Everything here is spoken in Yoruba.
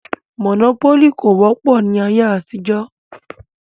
Mònópólì kò wọ́pọ̀ ní ayé àtijọ́